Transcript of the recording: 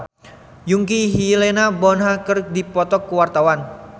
Yongki jeung Helena Bonham Carter keur dipoto ku wartawan